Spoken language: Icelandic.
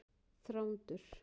Þrándur